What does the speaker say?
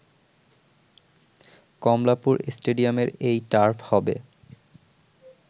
কমলাপুর স্টেডিয়ামের এই টার্ফ হবে